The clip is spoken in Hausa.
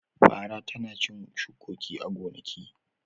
Fara tana cin shukoki a gonaki.